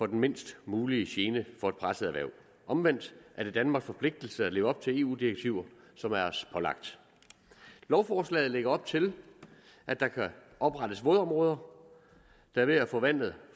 den mindst mulige gene for et presset erhverv omvendt er det danmarks forpligtelse at leve op til eu direktiver som er os pålagt lovforslaget lægger op til at der kan oprettes vådområder der ved at forvandles